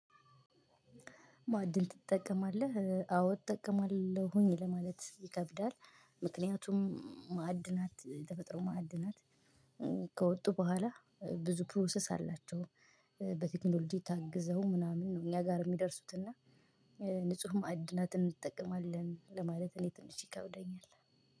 ማዕድን ትጠቀማለህ? አዎ እጠቀማለሁኝ ለማለት ይከብዳል። ምክንያቱም ማዕድናት የተፈጥሮ ማዕድናት ከወጡ በኋላ ብዙ ፕሮሰስ አላቸው። በቴክኖሎጂ ታግዘው ምናምን ነው እኛ ጋር የሚደርሱት እና። ንጹህ ማእድናትን እንጠቀማለን ለማለት እኔ ትንሽ ይከብደኛል።